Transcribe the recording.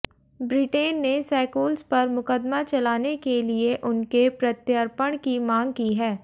Britain ने सैकूल्स पर मुकदमा चलाने के लिए उनके प्रत्यर्पण की मांग की है